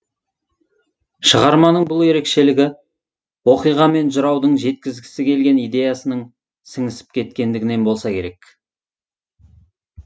шығарманың бұл ерекшелігі оқиға мен жыраудың жеткізгісі келген идеясының сіңісіп кеткендігінен болса керек